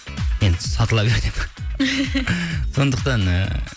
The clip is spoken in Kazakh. енді сатыла бер деп сондықтан ы